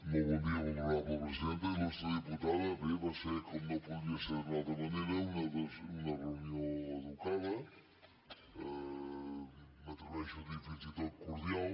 molt honorable presidenta il·lustre diputada bé va ser com no podia ser d’una altra manera una reunió educada m’atreveixo a dir fins i tot cordial